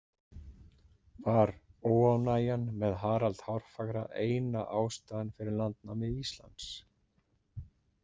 Var óánægjan með Harald hárfagra eina ástæðan fyrir landnámi Íslands?